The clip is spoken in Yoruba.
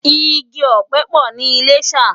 Igi òpè po ni Ilashe